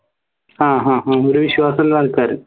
ആഹ് ആഹ് അഹ് ഒരു വിശ്വാസള്ള ആൾക്കാർ